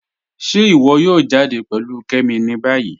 Ṣe íwọ yóò jàdẹ pẹ̀lú Kẹ́mí ní báyì?